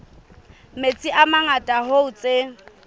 metsi a mangata hoo tse